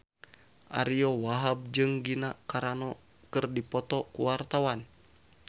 Ariyo Wahab jeung Gina Carano keur dipoto ku wartawan